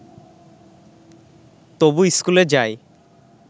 তবু স্কুলে যায়